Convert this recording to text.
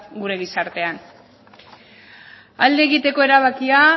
gure gizartean alde egiteko erabakia